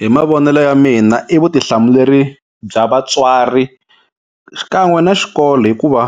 Hi mavonelo ya mina i vutihlamuleri bya vatswari xikan'we na xikolo hikuva